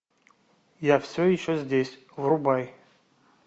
я все еще здесь врубай